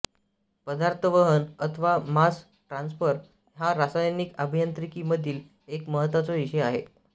पदार्थवहन अथवा mass transfer हा रासायनिक अभियांत्रिकी मधील एक महत्त्वाचा विषय आहे